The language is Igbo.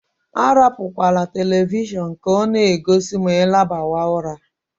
Arapukwala televishọọnu ka ọ na-egosi ma I labawa ụra.